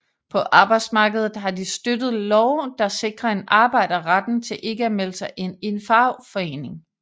På arbejdsmarkedet har de støttet love der sikrer en arbejder retten til ikke at melde sig ind i en fagforening